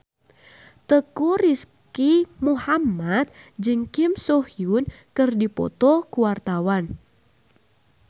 Teuku Rizky Muhammad jeung Kim So Hyun keur dipoto ku wartawan